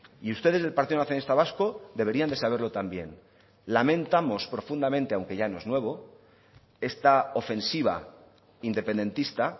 y ustedes del partido nacionalista vasco deberían de saberlo también lamentamos profundamente aunque ya no es nuevo esta ofensiva independentista